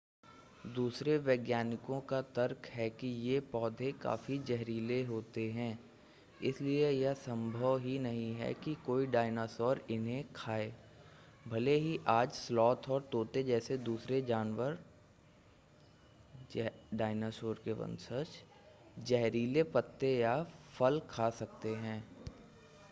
दूसरे वैज्ञानिकों का तर्क है कि ये पौधे काफ़ी जहरीले होते हैं इसलिए यह संभव ही नहीं है कि कोई डाइनासोर इन्हें खाएँ. भले ही आज स्लॉथ और तोते जैसे दूसरे जानवर डाइनासोर के वंशज जहरीले पत्ते या फल खा सकते हैं